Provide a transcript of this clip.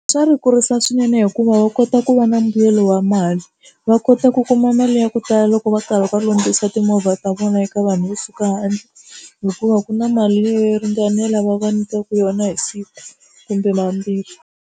Swa ri kurisa swinene hikuva va kota ku va na mbuyelo wa mali va kota ku kuma mali ya ku tala loko va karhi va lunghisa timovha ta vona eka vanhu vo suka handle hikuva ku na mali leyi ringanela va va nyikaka yona hi siku kumbe mambirhi.